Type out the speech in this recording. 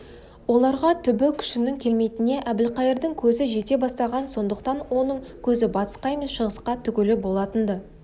оларға түбі күшінің келмейтініне әбілқайырдың көзі жете бастаған сондықтан оның көзі батысқа емес шығысқа тігулі болатын-ды